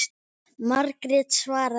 Margrét svaraði ekki.